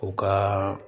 U ka